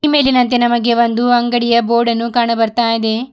ಈ ಮೇಲಿನಂತೆ ನಮಗೆ ಒಂದು ಅಂಗಡಿಯ ಬೋರ್ಡ್ ಅನ್ನು ಕಾಣು ಬರ್ತಾಇದೆ.